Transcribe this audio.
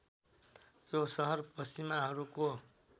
यो सहर पश्चिमाहरूको